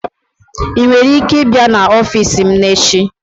I nwere ike ịbịa n'ọfịs m echi?